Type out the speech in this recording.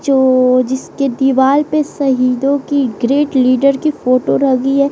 जो जिसके दीवाल पे शहीदों की ग्रेट लीडर की फोटो लगी है।